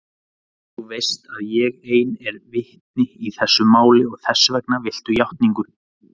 Og þú veist að ég ein er vitni í þessu máli og þessvegna viltu játningu.